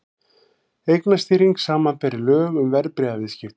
Eignastýring, samanber lög um verðbréfaviðskipti.